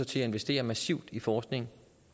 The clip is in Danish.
til at investere massivt i forskning